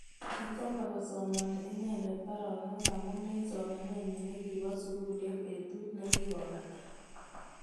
Kichomei kosamani inenendet baronok amu eng somanenyi nekibo sukul eng betut nekikobata.